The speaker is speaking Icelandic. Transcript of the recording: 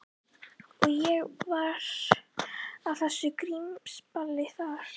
Og ég var á þessu grímuballi þarna.